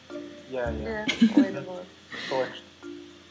иә иә солай күшті